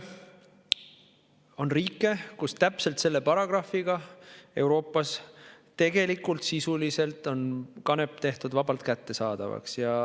On riike Euroopas, kus täpselt selle paragrahviga on kanep tehtud sisuliselt vabalt kättesaadavaks.